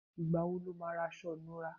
Ìgbà wo lo ma ra aṣọ ìnura?